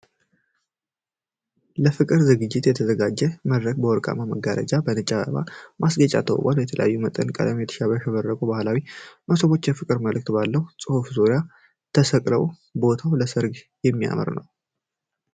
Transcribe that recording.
ለፍቅር ዝግጅት የተዘጋጀው መድረክ በወርቃማ መጋረጃዎችና በነጭ የአበባ ማስጌጫ ተውቧል። በተለያየ መጠንና ቀለም ያሸበረቁ ባህላዊ መሶቦች የፍቅር መልዕክት ባለው ጽሑፍ ዙሪያ ተሰቅለዋል። ቦታው ለሠርግ የሚያምር ነው።